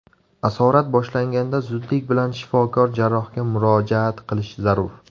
Asorat boshlanganda zudlik bilan shifokor jarrohga murojaat qilish zarur.